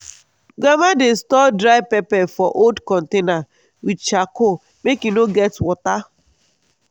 grandma dey store dry pepper for old container with charcoal make e no get water